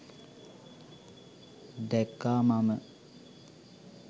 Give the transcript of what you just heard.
දැක්කා මම.